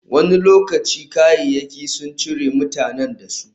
Wani lokaci, kayayyaki sun cire mutanen da su.